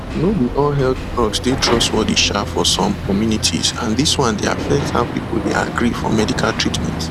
no be all health blogs dey trustworthy um for some communities and dis one dey affect how people dey agree for medical treatment